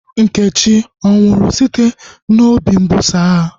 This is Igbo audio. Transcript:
Nkechi anwụrụ site n'obi mbuso agha?